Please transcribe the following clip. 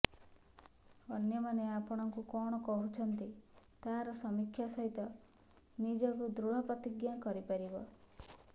ଅନ୍ୟମାନେ ଆପଣଙ୍କୁ କଣ କହୁଛନ୍ତି ତାହାର ସମୀକ୍ଷା ସହିତ ନିଜକୁ ଦୃଢ଼ ପ୍ରତିଜ୍ଞ କରିପାରିବ